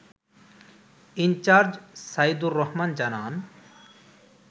in charge Saidur Rahman জানান